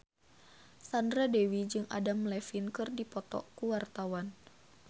Sandra Dewi jeung Adam Levine keur dipoto ku wartawan